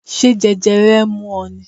Ṣé jẹjẹrẹ ń mú ọ ni?